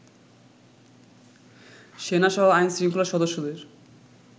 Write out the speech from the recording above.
সেনাসহ আইন-শৃঙ্খলার সদস্যদের